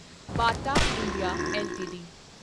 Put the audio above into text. Bata India LTD